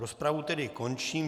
Rozpravu tedy končím.